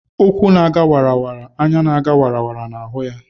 Ukwu na ga wara; anya na ga wara na hu ya